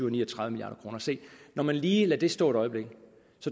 og ni og tredive milliard kroner se når man lige lader det stå et øjeblik